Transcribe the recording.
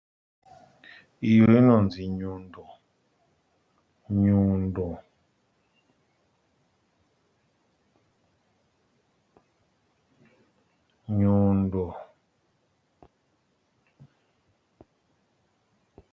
Iri rinonzi nyundo. Nyundo nyundo.